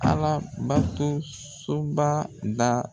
Ala bato so ba da